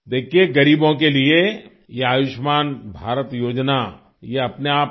देखिये ग़रीबों के लिए यह आयुष्मान भारत योजना यह अपने आप में